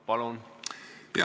Palun!